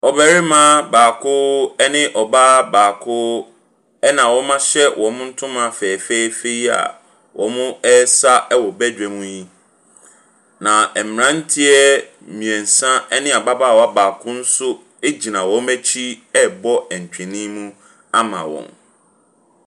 Ɔbarima baako ɛne ɔbaa baako ɛna wɔahyɛ wɔn ntoma fɛfɛɛfɛ yi a ɔresa wɔ bedwam yi. Na mmaranteɛ mmiɛnsa ɛne ababaawa baako nso gyina wɔn akyi ɛrebɔ ntwene mu ama wɔn.